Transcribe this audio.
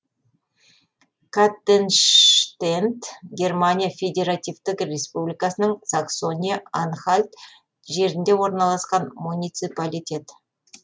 каттенштендт германия федеративтік республикасының саксония анхальт жерінде орналасқан муниципалитет